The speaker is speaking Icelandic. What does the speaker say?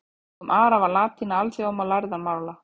Á dögum Ara var latína alþjóðamál lærðra manna.